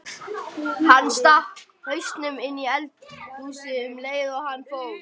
Hann stakk hausnum inní eldhúsið um leið og hann fór.